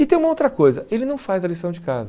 E tem uma outra coisa, ele não faz a lição de casa.